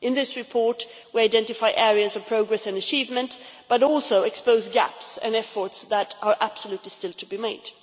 In this report, we identify areas of progress and achievement, but also expose gaps and efforts that are absolutely still to be made.